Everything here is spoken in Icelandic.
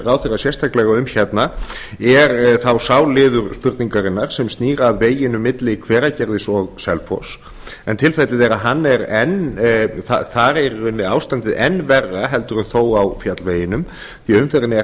ráðherrann sérstaklega um hérna er þá sá liður spurningarinnar sem snýr að veginum milli hveragerðis og selfoss en tilfellið er að þar er í rauninni ástandið enn verra heldur þó á fjallveginum því umferðin er